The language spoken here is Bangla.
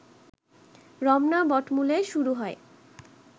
রমনা বটমূলে শুরু হয়